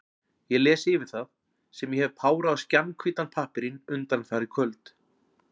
Ég les yfir það, sem ég hef párað á skjannahvítan pappírinn undanfarin kvöld.